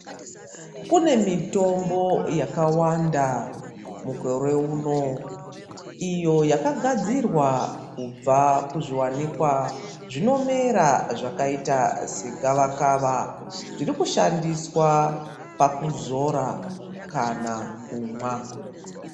Kune mitombo yakawanda mukore uno iyo yakagadzirwa kubva kuzviwanikwa zvinomera zvakaita segavakava zvirikushandiswa pakuzora kana kumwa.